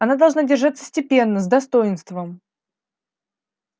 она должна держаться степенно с достоинством